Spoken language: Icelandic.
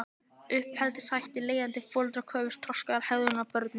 Uppeldishættir Leiðandi foreldrar kröfðust þroskaðrar hegðunar af börnum sínum.